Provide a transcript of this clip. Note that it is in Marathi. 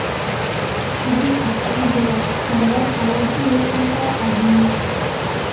तुझी अख्ख्या जगात सर्वात आवडती वस्तु काय आहे?